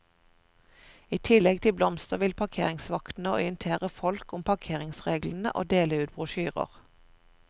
I tillegg til blomster vil parkeringsvaktene orientere folk om parkeringsreglene og dele ut brosjyrer.